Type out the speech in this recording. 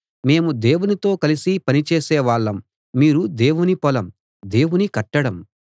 మేము దేవునితో కలిసి పని చేసే వాళ్ళం మీరు దేవుని పొలం దేవుని కట్టడం